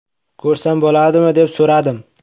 Ko‘rsam bo‘ladimi, deb so‘radim.